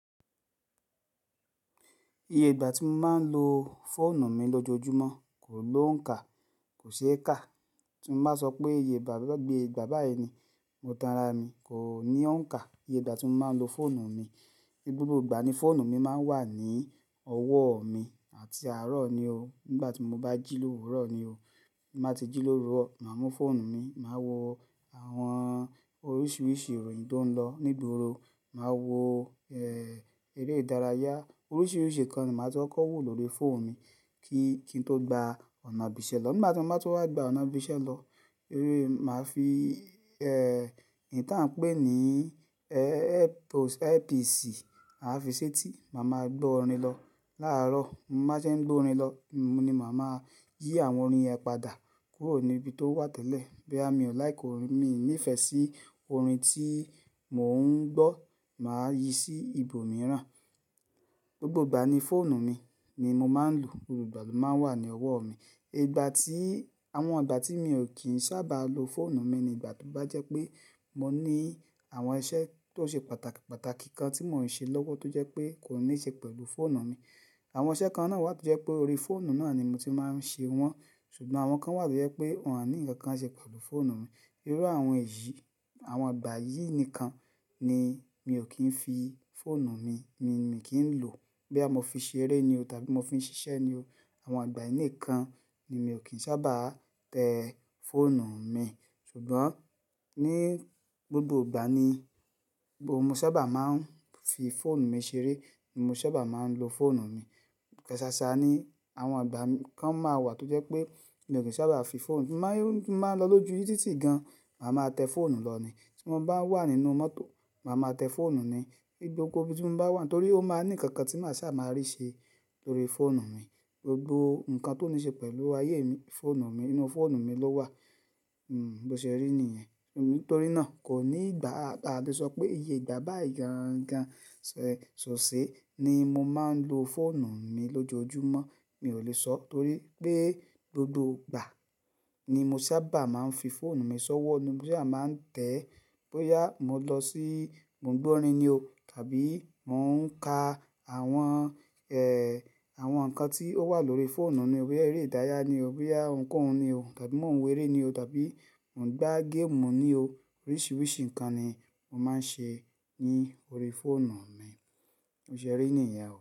Iye ìgbà tí mo máa ń lo fóònù mi lójoojúmọ́ kò ní òǹkà, kò ṣe é kà. Tí mo bá sọ pé iye ìgbà, bá gbé ìgbà báyìí ni mo tanra mi, kò ní òǹkà. Iye ìgbà tí mo máa ń lo fóònù mi. Gbogbo ìgbà ni fóònù mi máa ń wà ní ọwọ́ mi àti àárọ̀ ni o. Nígbà tí mo bá jílò, òwúrọ̀ ni o. Má tí jílò ró, màá mú fóònù mi, màá wo àwọn oríṣiríṣi ìròyìn tó ń lọ ní ìgboro, màá wo, ẹ́, eré ìdárayá. Oríṣiríṣi nǹkan ni màá ti kọ́ wò lórí fóònù mi kí-kín tó gba ọ̀nà òbísẹ́ lọ. Nígbà tí mo bá ti wá gba ọ̀nà òbísẹ́ lọ, eré, màá fi, ẹ́, ìtàn pé ní, earpiece màá fi ṣetí, màá ma gbọ́ orin lọ. Láàárọ̀, mo bá ṣe ń gbọ́ orin lọ, mo ní màá máa yí àwọn orin yẹn padà kúrò ní ibi tó wà tẹ́lẹ̀. Bí à mí ò like orin, mi ò nífẹ̀ẹ́ sí orin tí mò ń gbọ́, màá yí sí ibòmíràn. Gbogbo ìgbà ni fóònù mi ni mo máa ń lò. Gbogbo ìgbà ló máa ń wà ní ọwọ́ mi. Ìgbà tí, àwọn ìgbà tí mo kì í sábà lo fóònù mi ni ìgbà tó bá jẹ́ pé mo ní àwọn iṣẹ́ tó ṣe pàtàkì, pàtàkì kan tí mò ń ṣe lọ́wọ́ tó jẹ́ pé kò níí ṣe pẹ̀lú fóònù mi. Àwọn iṣẹ́ kan náà wà tó jẹ́ pé orí fóònù náà ni mo ti máa ń ṣe wọ́n. Ṣùgbọ́n àwọn kan wà tó jẹ́ pé wọ́n à ní ǹkan kan ṣe pẹ̀lú fóònù mi. Irú àwọn èyí, àwọn ìgbà yìí nìkan ni mi ò kín fi fóònù mi, mi, mi kì í lò. Bí a mo fi ṣeré ni o tàbí mo fi ṣiṣẹ́ ni o. Àwọn ìgbà yìí nìkan ni mi ò kín sábà tẹ́ fóònù mi. Ṣùgbọ́n ní gbogbo ìgbà ni mo sábà máa ń fi fóònù mi ṣeré, mo sábà máa ń lo fóònù mi. Ṣáṣá ni àwọn ìgbà kan máa wà tó jẹ́ pé mi ò kín sábà fi fóònù mi, mo máa ń lọ lójú títì gan, màá ma tẹ́ fóònù lọ ni. Tí mo bá wà nínú mọ́tò, màá ma tẹ́ fóònù ni. Gbigbo ibi tí mo bá wà, torí ó máa ní ǹkan kan tí màá sábà máa rí ṣe lórí fóònù mi. Gbogbo ǹkan tó níí ṣe pẹ̀lú ayé mi, fóònù mi, nínú fóònù mi ló wà. Hmm, bó ṣe rí nìyẹn. Nítorí náà kò ní ìgbà, a lè sọ pé iye ìgbà bá ìgangan ṣòṣe ni mo máa ń lo fóònù mi lójoojúmọ́. Mi ò lè sọ, torí pé gbogbo ìgbà ni mo sábà máa ń fi fóònù mi ṣọ́wọ́. Bí à máa ń tẹ̀, boya mo lọ sí, mo ń gbọ́ orin ni o tàbí mò ń ka àwọn, àwọn ǹkan tí ó wà lórí fóònù ni o bíi eré ìdárayá ni o bíi ohunkóhun ni o tàbí mò ń wèrè ni o tàbí mò ń gbá game ni o. Oríṣiríṣi ǹkan ni mo máa ń ṣe ní orí fóònù mi. O ṣe rí i nìyẹn.